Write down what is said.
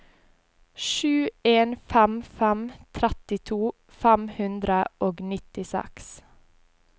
sju en fem fem trettito fem hundre og nittiseks